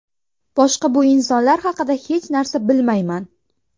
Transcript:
Boshqa bu insonlar haqida hech narsa bilmayman.